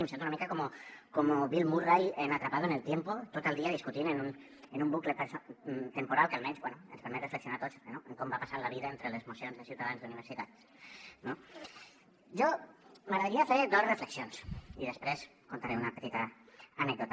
em sento una mica com bill murray en atrapado en el tiempo tot el dia discutint en un bucle temporal que almenys bé ens permet reflexionar a tots en com va passant la vida entre les mocions de ciutadans d’universitat no m’agradaria fer dos reflexions i després contaré una petita anècdota